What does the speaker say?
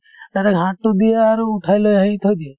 direct হাততোত দিয়ে আৰু উঠাই লৈ আহি থৈ দিয়ে